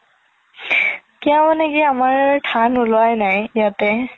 কিয়া মানে কি আমাৰ ধান উলিয়াই নাই ইয়াতে